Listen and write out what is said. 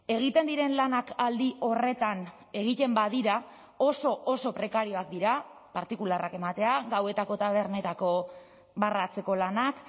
egiten diren lanak aldi horretan egiten badira oso oso prekarioak dira partikularrak ematea gauetako tabernetako barra atzeko lanak